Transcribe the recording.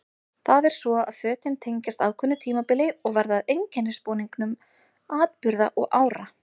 Það er svo að fötin tengjast ákveðnu tímabili og verða að einkennisbúningum atburða og ára.